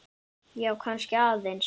Já, kannski aðeins.